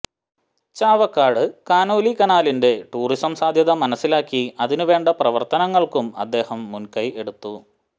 Chavakkad Conolly കനാലിന്റെ tourism സാധ്യത മനസ്സിലാക്കി അതിനു വേണ്ട പ്രവര്ത്തനങ്ങള്ക്കും അദ്ദേഹം മുന്കൈ എടുത്തു